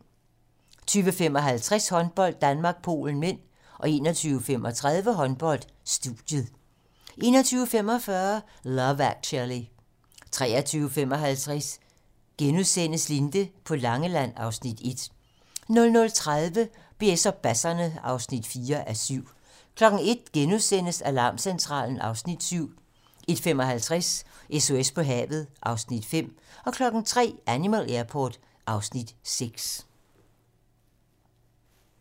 20:55: Håndbold: Danmark-Polen (m) 21:35: Håndbold: Studiet 21:45: Love Actually 23:55: Linde på Langeland (Afs. 1)* 00:30: BS og basserne (4:7) 01:00: Alarmcentralen (Afs. 7)* 01:55: SOS på havet (Afs. 5) 03:00: Animal Airport (Afs. 6)